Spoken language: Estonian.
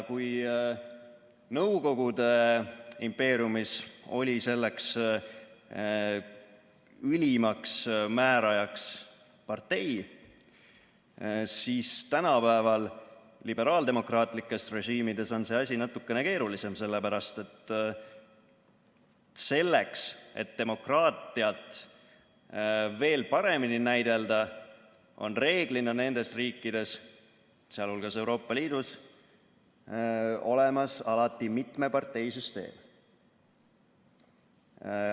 Kui Nõukogude impeeriumis oli selleks ülimaks määrajaks partei, siis tänapäeva liberaaldemokraatlikes režiimides on see asi natukene keerulisem, sellepärast et selleks, et demokraatiat veel paremini näidelda, on reeglina nendes riikides, sh Euroopa Liidus, olemas alati mitmeparteisüsteem.